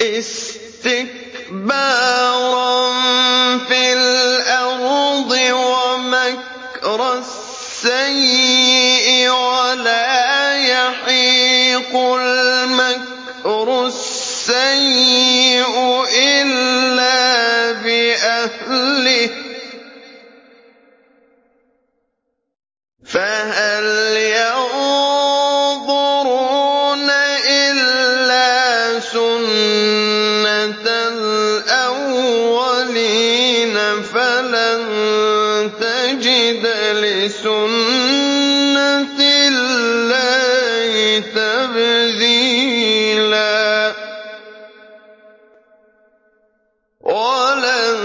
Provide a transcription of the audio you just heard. اسْتِكْبَارًا فِي الْأَرْضِ وَمَكْرَ السَّيِّئِ ۚ وَلَا يَحِيقُ الْمَكْرُ السَّيِّئُ إِلَّا بِأَهْلِهِ ۚ فَهَلْ يَنظُرُونَ إِلَّا سُنَّتَ الْأَوَّلِينَ ۚ فَلَن تَجِدَ لِسُنَّتِ اللَّهِ تَبْدِيلًا ۖ وَلَن